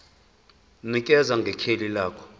nikeza ngekheli lendawo